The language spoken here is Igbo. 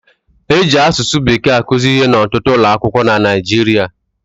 E ji asụsụ Bekee akụzi ihe n'ọtụtụ ụlọ akwụkwọ na Naịjirịa